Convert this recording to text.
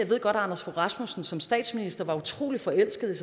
anders fogh rasmussen som statsminister var utrolig forelsket i